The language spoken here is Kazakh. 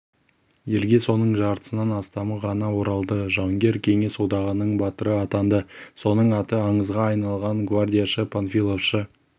елге соның жартысынан астамы ғана оралды жауынгер кеңес одағының батыры атанды соның аты аңызға айналған гвардияшы-панфиловшы